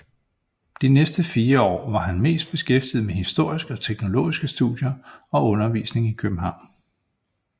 De næste 4 år var han mest beskæftiget med historiske og teologiske studier og undervisning i København